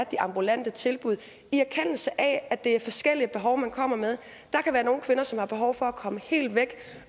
de ambulante tilbud en erkendelse af at det er forskellige behov man kommer med der kan være nogle kvinder som har behov for at komme helt væk